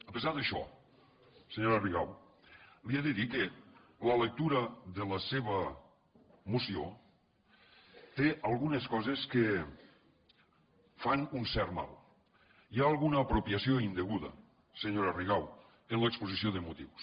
a pesar d’això senyora rigau li he de dir que la lectura de la seva moció té algunes coses que fan un cert mal hi ha alguna apropiació indeguda senyora rigau en l’exposició de motius